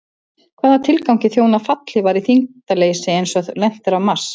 Hvaða tilgangi þjóna fallhlífar í þyngdarleysi eins og þegar lent er á Mars?